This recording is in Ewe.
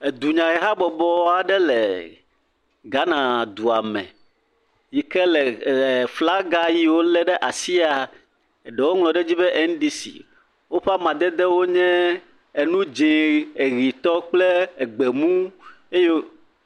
Dunyahehabɔbɔ aɖe le Ghana dua me yi ke le flaga yi wo lé ɖe asia, ɖe woŋlɔ ɖe dzi be NDC, woƒe amadede wo nye enu dzɛ̃, ʋitɔ kple gbemu eyo…